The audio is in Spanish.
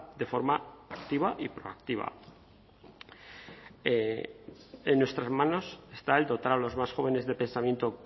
de forma activa y proactiva en nuestras manos está el dotar a los más jóvenes de pensamiento